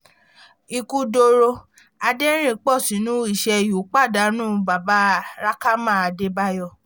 ikú dọ̀rọ̀ adẹ̀rìn-pọ̀ṣónú ishàé u pàdánù bàbá rẹ̀kámà adébáyò